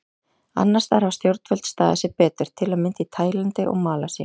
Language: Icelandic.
Annars staðar hafa stjórnvöld staðið sig betur, til að mynda í Taílandi og Malasíu.